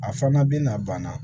A fana bina banna